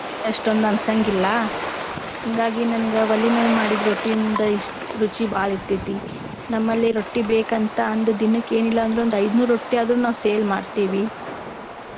ಅಷ್ಟೊಂದ ಅನ್ಸಂಗಿಲ್ಲಾ. ಹಿಂಗಾಗಿ ನನಗ ಒಲಿ ಮ್ಯಾಲ ಮಾಡಿದ ರೊಟ್ಟಿಯಿಂದ~ ಷ್ಟ ರುಚಿ ಬಾಳ ಇರ್ತೆತಿ. ನಮ್ಮಲ್ಲಿ ರೊಟ್ಟಿ ಬೇಕಂತ ಅಂದ ದಿನಕ್ಕ ಎನಿಲ್ಲಾ ಅಂದ್ರು ಐದ ನೂರ ರೊಟ್ಟಿ ಆದ್ರು ನಾವ sale ಮಾಡ್ತಿವಿ.